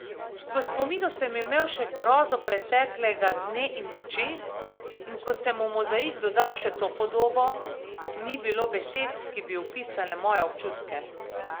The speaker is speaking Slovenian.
V spominu sem imel še grozo preteklega dne in noči, in ko sem v mozaik dodal še to podobo, ni bilo besed, ki bi opisale moje občutke.